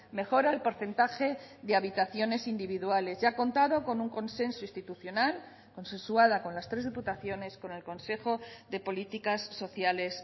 mejora el porcentaje de habitaciones individuales y ha contado con un consenso institucional consensuada con las tres diputaciones con el consejo de políticas sociales